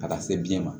A ka se biyɛn ma